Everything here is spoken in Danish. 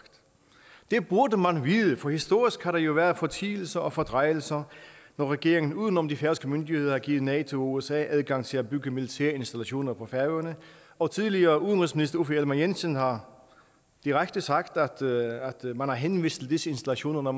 det burde man vide for historisk har der jo været fortielser og fordrejelser når regeringen uden om de færøske myndigheder har givet nato og usa adgang til at bygge militære installationer på færøerne og tidligere udenrigsminister uffe ellemann jensen har direkte sagt at man har henvist til disse installationer når